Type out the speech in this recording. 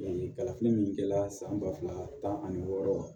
kalafili min kɛra san ba fila tan ani wɔɔrɔ